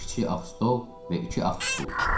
Kiçik ağ stol və iki ağ stul.